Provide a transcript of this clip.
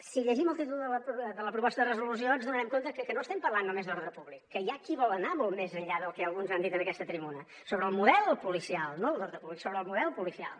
si llegim el títol de la proposta de resolució ens adonarem que no estem parlant només d’ordre públic que hi ha qui vol anar molt més enllà del que alguns han dit en aquesta tribuna sobre el model policial no el d’ordre públic sobre el model policial